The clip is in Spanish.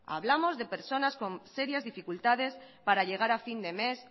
hablamos de personas con serias dificultades para llegar a fin de mes